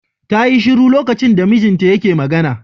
Ta yi shiru lokacin da mijinta yake magana.